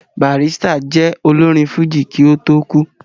Barrister jẹ́ olórin fújì kí ó tó kú